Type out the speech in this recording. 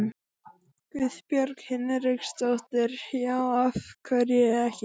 Guðbjörg Hinriksdóttir: Já, af hverju ekki?